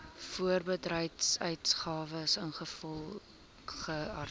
voorbedryfsuitgawes ingevolge artikel